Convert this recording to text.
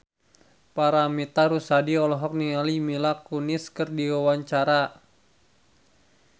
Paramitha Rusady olohok ningali Mila Kunis keur diwawancara